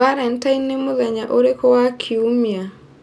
Valentine nĩ mũthenya ũrĩkũ wa kiumia